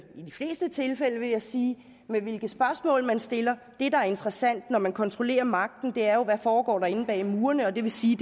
fleste tilfælde vil jeg sige hvilke spørgsmål man stiller det der er interessant når man kontrollerer magten er jo hvad der foregår inde bag murene og det vil sige